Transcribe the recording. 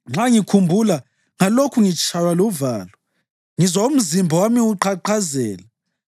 Nxa ngikhumbula ngalokhu ngitshaywa luvalo; ngizwa umzimba wami uqhaqhazela.